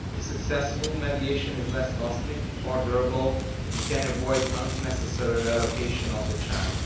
If successful, mediation is less costly, more durable and can avoid the unnecessary relocation of the child.